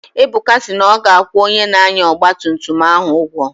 Ebuka si na ọ ga-akwụ onye na-anya ọgba tum tum ahụ ụgwọ